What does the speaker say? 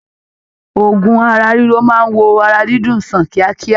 Òògùn ara riro máa wò ara dídùn sàn kíákíá.